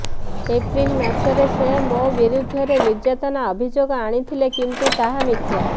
April ମାସରେ ସେ ମୋ ବିରୋଧରେ ନିର୍ଯାତନା ଅଭିଯୋଗ ଆଣିଥିଲେ କିନ୍ତୁ ତାହା ମିଥ୍ୟା